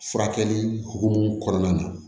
Furakɛli hukumu kɔnɔna na